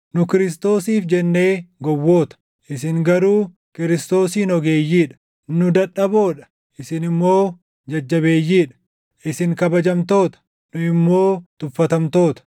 Nu Kiristoosiif jennee gowwoota; isin garuu Kiristoosiin ogeeyyii dha! Nu dadhaboo dha; isin immoo jajjabeeyyii dha! Isin kabajamtoota; nu immoo tuffatamtoota!